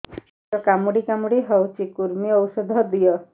ପେଟ କାମୁଡି କାମୁଡି ହଉଚି କୂର୍ମୀ ଔଷଧ ଦିଅ